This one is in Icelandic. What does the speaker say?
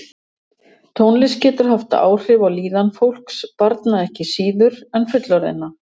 Tónlist getur haft áhrif á líðan fólks, barna ekki síður en fullorðinna.